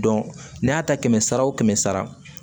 n'a y'a ta kɛmɛ sara o kɛmɛ sara